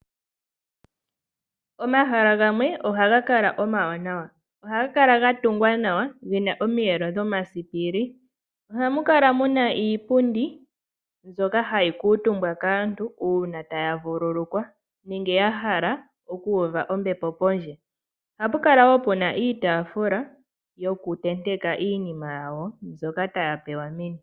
Omahala gamwe ohagakala omawanawa, ohagakala gatungwa nawa gena omiyelo dhomasiipili. Ohamukala muna iipundi mbyoka hayi kuutumbwa kaantu uuna taya vululukwa nenge yahala okuuva ombepo pondje. Ohapukala wo puna iitaafula yokuntenteka iinima yawo mbyoka taya pewa meni.